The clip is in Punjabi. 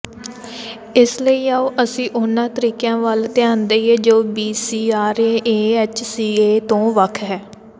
ਇਸ ਲਈ ਆਉ ਅਸੀਂ ਉਹਨਾਂ ਤਰੀਕਿਆਂ ਵੱਲ ਧਿਆਨ ਦੇਈਏ ਜੋ ਬੀਸੀਆਰਏ ਏਐਚਸੀਏ ਤੋਂ ਵੱਖ ਹੈ